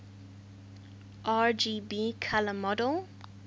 rgb color model